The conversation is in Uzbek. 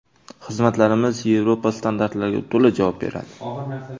Xizmatlarimiz Yevropa standartlariga to‘la javob beradi.